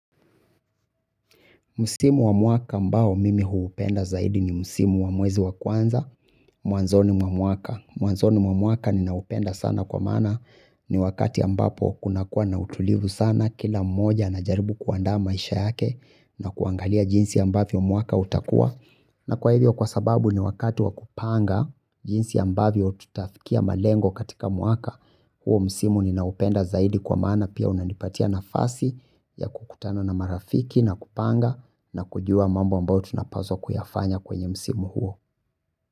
Msimu wa mwaka mbao mimi huupenda zaidi ni msimu wa mwezi wa kwanza, mwanzoni mwa mwaka. Mwanzoni mwa mwaka ninaupenda sana kwa maana ni wakati ambapo kuna kuwa na utulivu sana kila mmoja anajaribu kuandaa maisha yake na kuangalia jinsi ambavyo mwaka utakua. Na kwa hivyo kwa sababu ni wakati wa kupanga jinsi ambavyo tutafikia malengo katika mwaka huo msimu ni naupenda zaidi kwa maana pia unanipatia nafasi ya kukutana na marafiki na kupanga na kujua mambo ambao tunapaswa kuyafanya kwenye msimu huo.